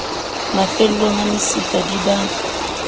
mafellong a mesifa di ba